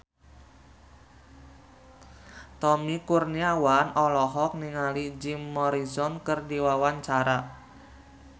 Tommy Kurniawan olohok ningali Jim Morrison keur diwawancara